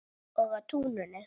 Og á túninu.